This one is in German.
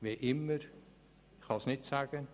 Wann auch immer, ich kann es nicht sagen.